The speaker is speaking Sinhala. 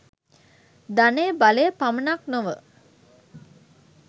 ධනය බලය පමණක් නොව